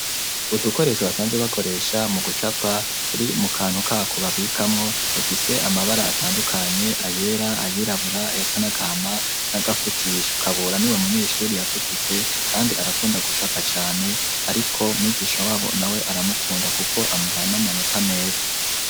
udukoresho basanze bakoresha mu gucapa turi mu kantu ka kubabikamo dufise amabara atandukanye ayera ayirabura ayasanagama n'agafutish kabura ni we munyeshuri yatugutse kandi arakunda gucapa cyane ariko mwigisha wabo nawe aramukunda kuko amuhana amanota meza.